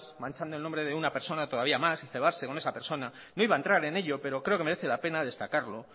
manchando el nombre de una persona todavía más y cebarse con esa persona no iba a entrar en ello pero creo que merece la pena destacarlo